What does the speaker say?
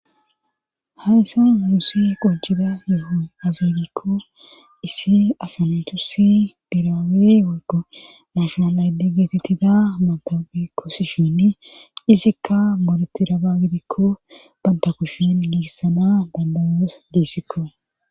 hayssan nussi qonciday aze gikko issi asanethusi birawe wego maashonalayde geetettida matabi kosishinn isikka moletiraba gidikko banda kushin giissana dandayoos gusikko